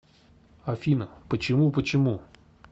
афина почему почему